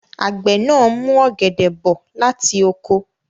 Àgbẹ̀ náà mú ọ̀gẹ̀dẹ̀ bọ̀ láti oko.